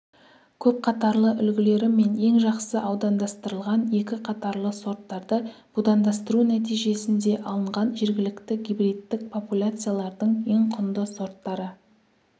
көпқатарлы үлгілері мен ең жақсы аудандастырылған екі қатарлы сорттарды будандастыру нәтижесінде алынған жергілікті гибридтік популяциялардың ең құнды сорттары